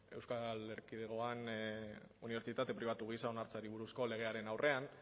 euskal erkidegoan unibertsitate pribatu gisa onartzeari buruzko legearen aurrean